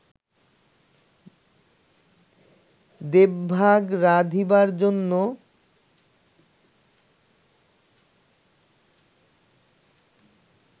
দেবভাগ রাধিবার জন্য